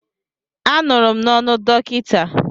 Anụrụ m n'ọnụ dọkịta.